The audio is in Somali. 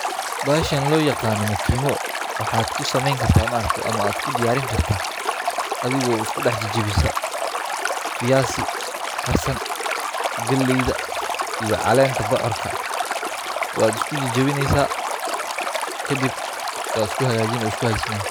Bahashan loo yaqaano mukiibo, waxaad ku sameyn kartaa ama aad ku diyaarin kartaa, adhigo isku dex jajabisa, fiyaasi karsan, galeeyda iyo caleenta bocorta, waad isku jajabineesa kadib waad isku hagaajini weey isku hagajismaayan.